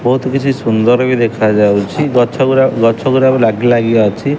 ବହୁତ କିଛି ସୁନ୍ଦର ବି ଦେଖାଯାଉଚି ଗଛ ଗୁରା ଗଛ ଗୁରା ଲାଗି ଲାଗି କା ଅଛି।